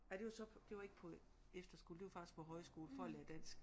Ej det var så det var ikke på efterskole det var faktisk på højskole for at lære dansk